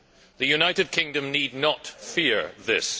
The United Kingdom need not fear this.